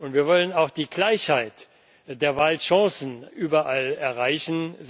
Wir wollen auch die Gleichheit der Wahlchancen überall erreichen.